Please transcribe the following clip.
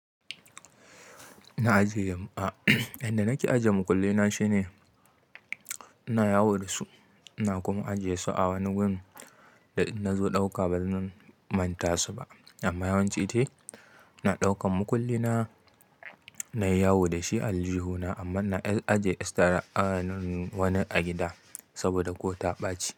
Inda nake ajiye mukullaina shine ina yawo da su ina kuma ajiye su a wani wurin da in nazo dauka bazan manta su ba. Amma yawanci dai ina ɗaukan makulli na nayi yawo da shi a aljihuna amma na ajiye estra an wani a gida saboda ko ta ɓaci.